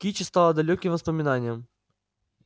кичи стала далёким воспоминанием